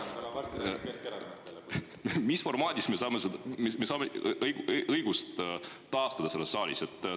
Mis formaadis me saame õigust taastada selles saalis?